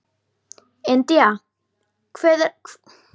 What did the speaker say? India, hvað er á dagatalinu í dag?